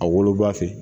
A woloba fɛ